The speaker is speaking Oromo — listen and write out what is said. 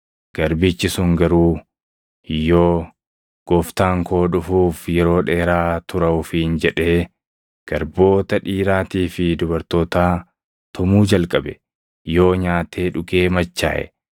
Garbichi sun garuu yoo, ‘Gooftaan koo dhufuuf yeroo dheeraa tura’ ofiin jedhee, garboota dhiiraatii fi dubartootaa tumuu jalqabe, yoo nyaatee dhugee machaaʼe,